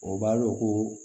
O b'a dɔ ko